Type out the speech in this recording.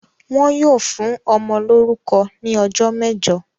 Wọn yóò fún ọmọ lórúkọ ní ọjọ́ mẹ́jọ!